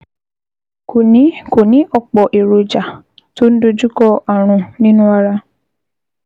Kò ní Kò ní ọ̀pọ̀ èròjà tó ń dojúkọ ààrùn nínú ara